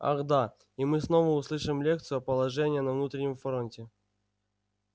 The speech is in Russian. ах да и мы снова услышим лекцию о положении на внутреннем фронте